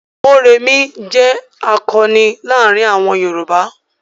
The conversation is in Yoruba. Mórèmí jẹ́ àkọni láàárin àwọn Yorùbá.